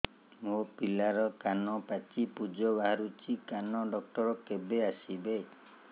ମୋ ପିଲାର କାନ ପାଚି ପୂଜ ବାହାରୁଚି କାନ ଡକ୍ଟର କେବେ ଆସିବେ